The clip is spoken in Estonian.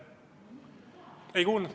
Ei kuulnud.